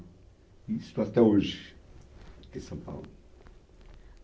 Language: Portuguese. E estou até hoje em São Paulo.